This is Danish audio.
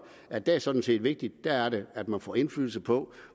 at det sådan set er vigtigt der er det man får indflydelse på